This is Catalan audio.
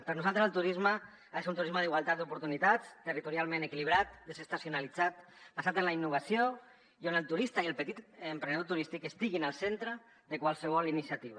per nosaltres el turisme ha de ser un turisme d’igualtat d’oportunitats territorialment equilibrat desestacionalitzat basat en la innovació i on el turista i el petit emprenedor turístic estiguin al centre de qualsevol iniciativa